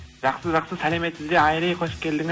жақсы жақсы сәлеметсіз бе айри қош келдіңіз